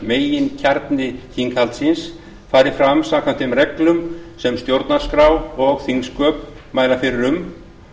meginkjarni þinghaldsins fari fram samkvæmt þeim reglum sem stjórnarskrá og þingsköp mæla fyrir um